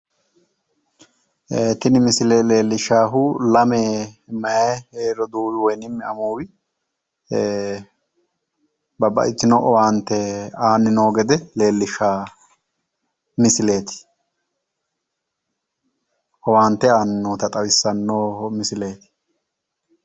Tini misile leellishshahu lame meyaa roduuwi woyinim amuuwi babbaxxitino owaante aanni noota leellishshanno misileeti. Owaante aanni noota leellishshanno misileeti.